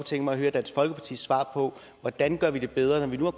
tænke mig at høre dansk folkepartis svar på hvordan gør vi det bedre når vi nu har